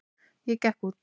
Ég gekk út.